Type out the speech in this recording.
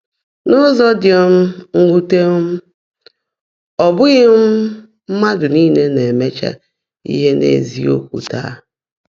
N’ụ́zọ́ ḍị́ um mwùté, um ọ́ bụ́ghị́ um mmádụ́ níle ná-èméchá íhe n’ézíokwú táá.